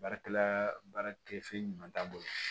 Baarakɛla baara tɛ fɛn ɲuman t'a bolo